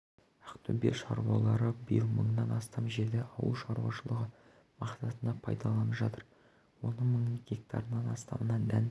ақтөбе шаруалары биыл мыңнан астам жерді ауыл шаруашылығы мақсатында пайдаланып жатыр оның мың гектарынан астамына дән